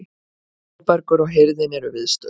Þórbergur og hirðin eru viðstödd.